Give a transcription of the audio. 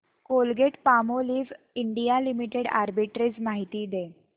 Colgate Palmolive India limited arbitrage माहिती दे